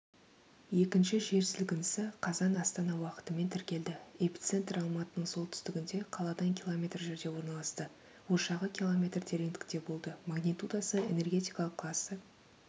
екінші жер сілкінісі қазан астана уақытымен тіркелді эпицентр алматының солтүстігінде қаладан километр жерде орналасты ошағы километр тереңдікте болды магнитудасы энергетикалық классы